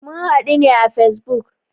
Mun hadu ne à Facebook